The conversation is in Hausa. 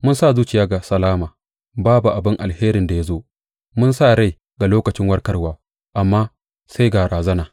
Mun sa zuciya ga salama babu abin alherin da ya zo, mun sa rai ga lokacin warkarwa amma sai ga razana.